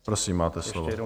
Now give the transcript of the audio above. Prosím, máte slovo.